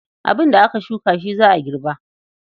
Abin da aka shuka shi za a girba.